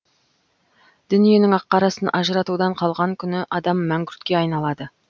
дүниенің ақ қарасын ажыратудан қалған күні адам мәңгүртке айналады